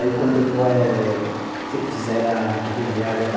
Aí quando eh fizeram a rodoviária da